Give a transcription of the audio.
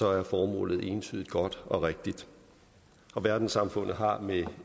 er formålet entydigt godt og rigtigt verdenssamfundet har med